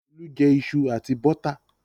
Olú jẹ iṣu àti bọ́tà.